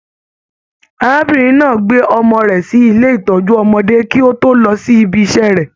Arábìnrin náà gbé ọmọ rẹ sí ilé ìtọjú ọmọdé kì o tó lọ sí ìbi iṣẹ rẹ.